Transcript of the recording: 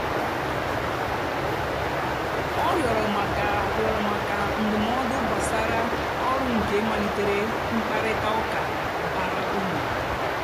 ọ rịọ̀rọ̀ maka rịọ̀rọ̀ maka ndụ́mọ̀dụ́ gbàsàrà ọ́rụ́ nkè malìterè mkpáịrịtà ụ́ka bàrà úrù.